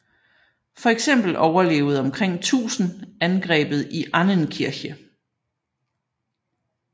Fx overlevede omkring 1000 angrebet i Annenkirche